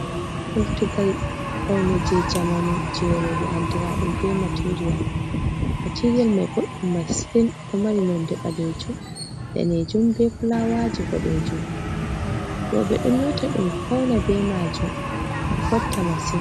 Kultungal paune je jamanu je roɓe andira ɗum materiyal. materiyal mai boddum masin, ɗo mari nonde balejum, danejum, be fulawaji bodejum. Roɓe ɗo nyota ɗum fauna be majum ɗo fotta masin.